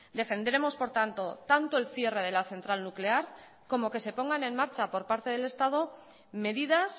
defenderemos por tanto tanto el cierre de la central nuclear como que se pongan en marcha por parte del estado medidas